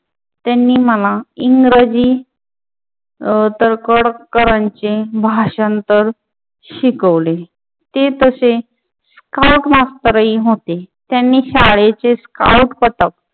त्यांनी मला इंग्रजी तळखर करांचे भाषांतर शिकवले. ते तसे स्काऊट मास्टर होते. त्यांनी शाळेचे स्काऊट पथक